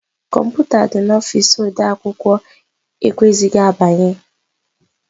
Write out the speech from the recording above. Kọmputa dị n'ọfici ode akwụkwọ e kweghịzị agbanye.